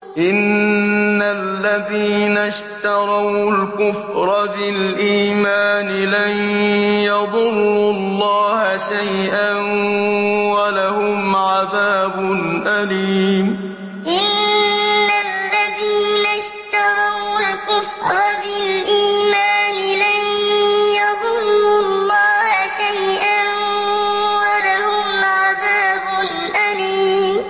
إِنَّ الَّذِينَ اشْتَرَوُا الْكُفْرَ بِالْإِيمَانِ لَن يَضُرُّوا اللَّهَ شَيْئًا وَلَهُمْ عَذَابٌ أَلِيمٌ إِنَّ الَّذِينَ اشْتَرَوُا الْكُفْرَ بِالْإِيمَانِ لَن يَضُرُّوا اللَّهَ شَيْئًا وَلَهُمْ عَذَابٌ أَلِيمٌ